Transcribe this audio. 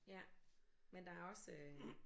Ja men der er også øh